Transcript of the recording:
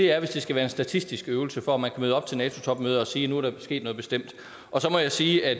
er at hvis det skal være en statistisk øvelse for at man kan møde op til nato topmødet og sige at nu er der sket noget bestemt så må jeg sige at